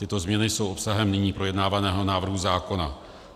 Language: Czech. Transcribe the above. Tyto změny jsou obsahem nyní projednávaného návrhu zákona.